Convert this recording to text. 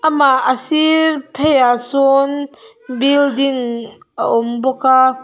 amah a sir pheiah sawn building a awm bawk a.